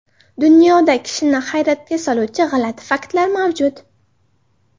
Dunyoda kishini hayratga soluvchi g‘alati faktlar mavjud.